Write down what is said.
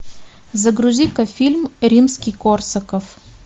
загрузи ка фильм римский корсаков